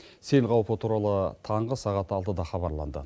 сел қаупі туралы таңғы сағат алтыда хабарланды